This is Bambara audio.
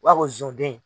U b'a fɔ ko zonden